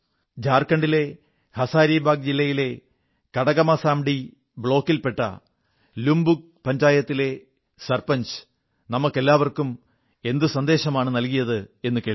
ജാർഖണ്ഡിലെ ഹസാരിബാഗ് ജില്ലയിലെ കടക്മാസന്ധി ബ്ലോക്കിൽ പെട്ട ലുപുംഗ് പഞ്ചായത്തിലെ ഗ്രാമമുഖ്യൻ നമുക്കെല്ലാവർക്കും എന്തു സന്ദേശമാണു നല്കിയതെന്നു കേൾക്കൂ